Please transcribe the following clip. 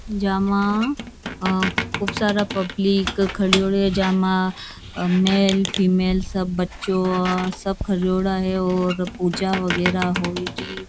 जामा खूब सारा पब्लिक खरोडा है जामा मेल फीमेल सब बच्चो सब खरोड़ा है और पूजा वगेरा होए री।